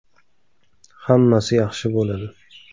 Hammasi yaxshi bo‘ladi.